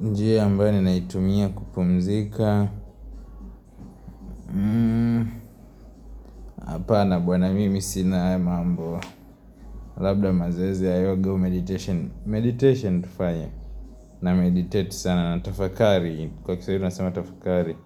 Njia ambayo ninaitumia kupumzika hapa na bwana mimi sina haya mambo. Labda mazoezi ya yoga au meditation Meditation tufanye. Na meditate sana na tafakari. Kwa kiswahili tunasema tafakari.